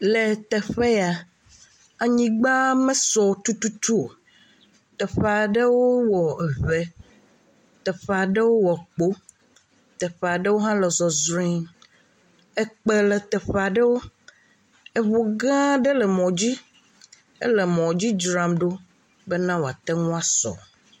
Le teƒe ya, anyigba mesɔ tututu o, teƒe aɖewo wɔ ŋe, teƒe aɖewo wɔ kpo, teƒe aɖewo hã le zɔzrɔe, eŋu gã aɖe le emɔ dzi, ele mɔ dzi dzram ɖo bena wòate ŋu asɔ.